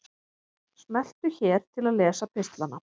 Smelltu hér til að lesa pistlana